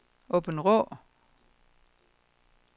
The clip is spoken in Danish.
Aabenraa